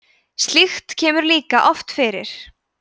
slíkt kemur líka oft fyrir